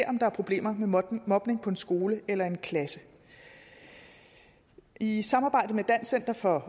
om der er problemer med mobning mobning på en skole eller i en klasse i i samarbejde med dansk center for